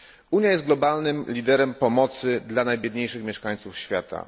Unia jest globalnym liderem pomocy dla najbiedniejszych mieszkańców świata.